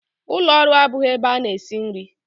Ụlọ ọrụ abụghị ebe a na-esi nri.